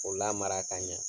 K'o lamara k'a ɲɛ.